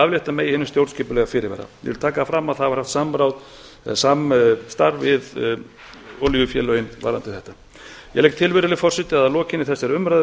aflétta megi hinum stjórnskipulega fyrirvara ég vil taka það fram að það var haft samráð eða samstarf við olíufélögin varðandi þetta ég legg til virðulegi forseti að að lokinni þessari umræðu